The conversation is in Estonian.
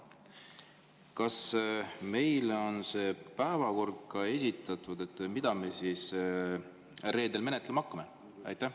Kas meile on see päevakord, mida me reedel menetlema hakkame, esitatud?